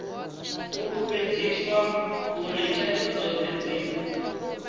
fulufhedziswa uri thaidzo dzothe dzi